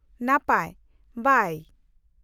-ᱱᱟᱯᱟᱭ , ᱵᱟᱭ ᱾